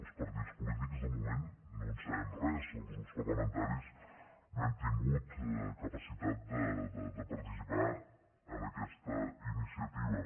els partits polítics de moment no en sabem res els grups parlamentaris no hem tingut capacitat de participar en aquesta iniciativa